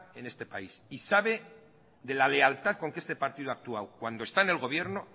en este país sabe de la lealtad con que este partido ha actuado cuando está en el gobierno